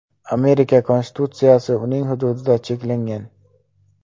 Amerika Konstitutsiyasi uning hududida cheklangan.